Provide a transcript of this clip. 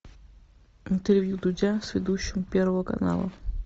интервью дудя с ведущим первого канала